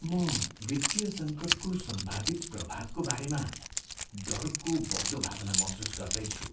म वित्तीय सङ्कटको सम्भावित प्रभावको बारेमा डरको बढ्दो भावना महसुस गर्दैछु।